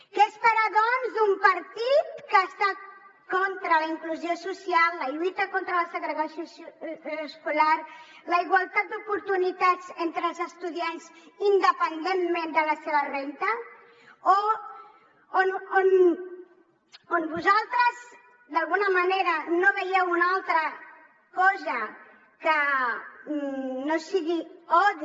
què esperar doncs d’un partit que està contra la inclusió social la lluita contra la segregació escolar la igualtat d’oportunitats entre els estudiants independentment de la seva renda on vosaltres d’alguna manera no veieu una altra cosa que no sigui odi